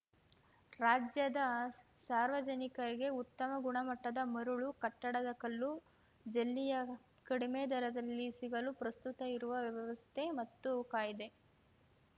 ರಾಜ್ಯದ ಸಾರ್ವಜನಿಕರಿಗೆ ಉತ್ತಮ ಗುಣಮಟ್ಟದ ಮರಳು ಕಟ್ಟಡದ ಕಲ್ಲು ಮತ್ತು ಜಲ್ಲಿಯ ಕಡಿಮೆ ದರದಲ್ಲಿ ಸಿಗಲು ಪ್ರಸ್ತುತ ಇರುವ ವ್ಯವಸ್ಥೆ ಮತ್ತು ಕಾಯ್ದೆ